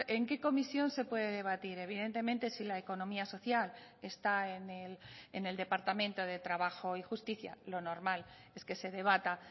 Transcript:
en qué comisión se puede debatir evidentemente si la economía social está en el departamento de trabajo y justicia lo normal es que se debata